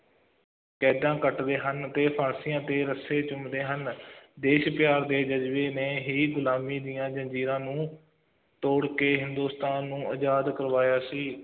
ਕੈਦਾਂ ਕੱਟਦੇ ਹਨ ਅਤੇ ਫਾਂਸੀਆਂ ਤੇ ਰੱਸੇ ਚੁੰਮਦੇ ਹਨ ਦੇਸ਼ ਪਿਆਰ ਦੇ ਜ਼ਜ਼ਬੇ ਨੇ ਹੀ ਗੁਲਾਮੀ ਦੀ ਜ਼ੰਜ਼ੀਰਾਂ ਨੂੰ ਤੋੜ ਕੇ, ਹਿੰਦੁਸਤਾਨ ਨੂੰ ਆਜ਼ਾਦ ਕਰਵਾਇਆ ਸੀ,